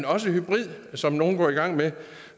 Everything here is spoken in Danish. også hybrid som nogle går i gang med